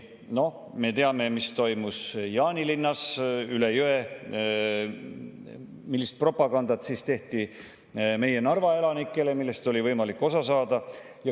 Noh, me teame, mis toimus Jaanilinnas üle jõe, millist propagandat tehti meie Narva elanikele ning millest oli võimalik osa saada.